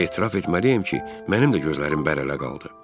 Etiraf etməliyəm ki, mənim də gözlərim bərələrə qaldı.